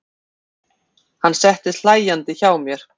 Hann settist hlæjandi hjá mér.